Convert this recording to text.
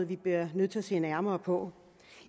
vi bliver nødt til at se nærmere på